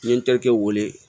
N ye n terikɛ wele